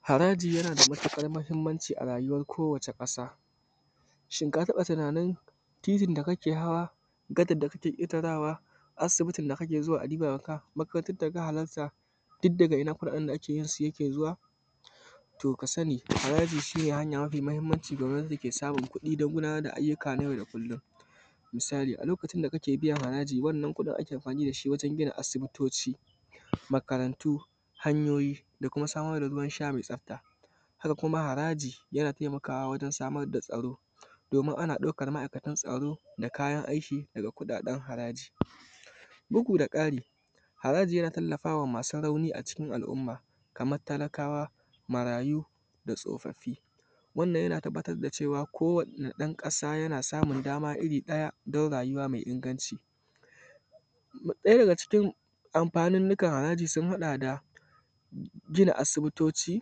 Haraji na da matuƙar mahimmanci ga rayuwar kowacce ƙasa, shi ka taɓa tunanin titin da gadar da kake ketarawa, asibiti da kake zuwa makarantar da ka halarta duk daga kudaden da ake yin su da nan yake zuwa. To ka sani haraji shi hanya mafi mahimmanci da gwamnatin ke samun kuɗi don gudanar da ayyukan na yau da kullum. Alal misali a lokaci da kake biyan haraji, wannan kuɗin ake amfani da shi wajen gina asibitoci makarantu hanyoyi da kuma samar da ruwan sha mai tsafta. Haka kuma haraji yana taimakawa wajen samar da tsaro domin ana aukar ma'aikatan tsoro da kuma kayan aiki daga kuɗaɗen harajin. Bugu da ƙari, haraji yana tallafawa masu rauni a cikin al'umma kamar talakawa marayu da tsofaffi. Wannan yana tabbarwa kowanne ɗan ƙasa yana samun dama irin ɗaya don rayuwa mai inganci. Ɗaya daga cikin amfanin haraji sun haɗa da: gina asibitoci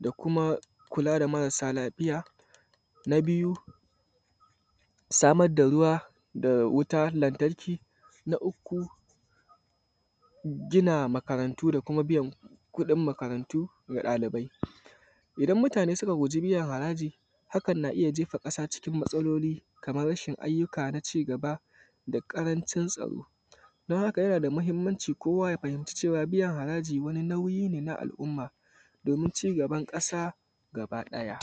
da kuma kula da marasa lafiya. Na biyu samar da ruwa da wutar lantarki. Na uku gina makarantu da kuma biyan kuɗin makaranta ga ɗalibai. Idan mutane suka guji biyan kuɗin haraji, hakan na jefa ƙasa cikin matsalolin Kamar rashin ayyukan ci gaba da kuma ƙarancin tsaro: don haka yana da muhimmanci kowa ya fahimci cewa biyan haraji wani nauyi ne na al'umma domin ci gaban kasa gaba ɗaya